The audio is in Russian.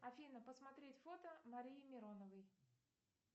афина посмотреть фото марии мироновой